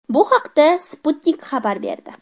Bu haqda Sputnik xabar berdi .